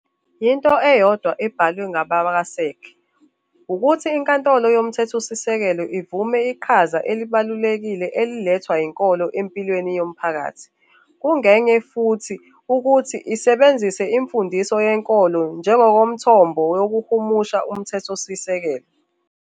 Yinto eyodwa, abhalwe ngabakwaSach, ukuthi iNkantolo Yomthethosisekelo ivume iqhaza elibalulekile elethwa yinkolo empilweni yomphakathi, kungenye futhi ukuthi isebenzise imfundiso yenkolo njengomthombo wokuhumusha uMthethosisekelo.